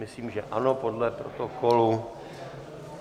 Myslím, že ano podle protokolu.